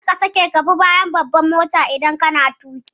Kar ka sake ka bi bayan babbar mota idan kana tuƙi.